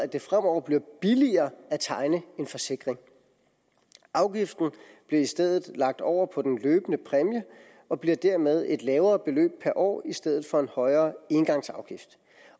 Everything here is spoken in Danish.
det fremover bliver billigere at tegne en forsikring afgiften bliver i stedet lagt over på den løbende præmie og bliver dermed et lavere beløb per år i stedet for en højere engangsafgift